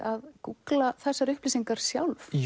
að gúggla þessar upplýsingar sjálf